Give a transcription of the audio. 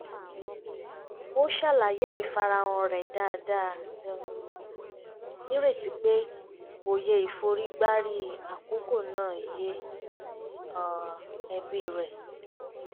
ó ṣàlàyé àìfarahàn rẹ̀ dáadáa um nírètí pé òye ìforígbárí àkókò náà yé ẹbí rẹ̀